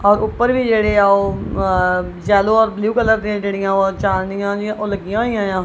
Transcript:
ਔਰ ਉੱਪਰ ਵੀ ਜੇਹੜੇਆ ਓਹ ਯੇਲੋ ਔਰ ਬਲੂ ਕਲਰ ਦੇ ਜੇਹੜੀਆਂ ਓਹ ਚਾਂਦਨਿਆਂ ਜੇਹੀਆਂ ਓਹ ਲੱਗੀਆਂ ਹੋਈਆਂ ਯਾਂ।